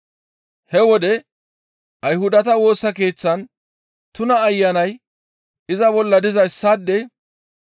He wode Ayhudata Woosa Keeththan tuna ayanay iza bolla diza issaadey,